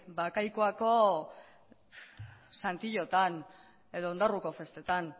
bakaikuako edo ondarruko festetako